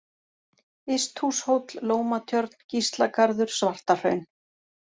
Ysthúshóll, Lómatjörn, Gíslagarður, Svartahraun